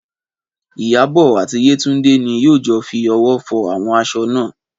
Ìyábọ̀ àti Yétúndé ni yóò jọ fi ọwọ́ fọ àwọn aṣọ náà